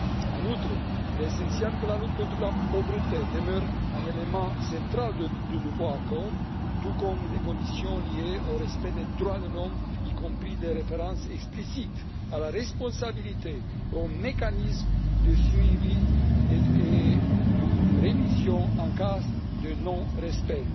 En outre, il est essentiel que la lutte contre la pauvreté demeure un élément central du nouvel accord, tout comme des conditions liées au respect des droits de l'homme, y compris des références explicites à la responsabilité, au mécanisme de suivi et de révision en cas de non respect.